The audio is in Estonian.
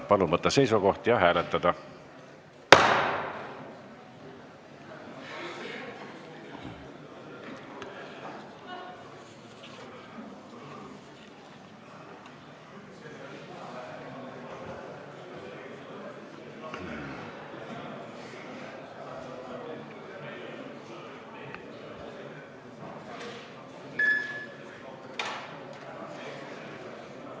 Palun võtta seisukoht ja hääletada!